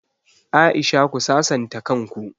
Aisha ku sasanta kan ku!